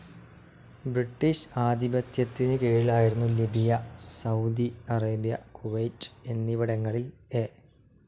British ആധിപത്യത്തിന് കീഴിലായിരുന്ന Libya, Saudi Arabia, Kuwait എന്നിവിടങ്ങളിൽ എ.